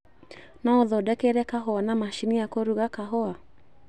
No ũthodekere kahũa na macini ya kũruga kahũa?